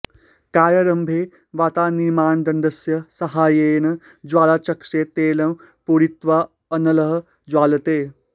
कार्यारम्भे वातनिर्माणदण्डस्य साहाय्येन ज्वालाचषके तैलं पूरयित्वा अनलः ज्वाल्यते